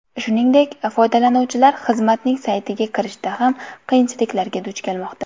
Shuningdek, foydalanuvchilar xizmatning saytiga kirishda ham qiyinchiliklarga duch kelmoqda.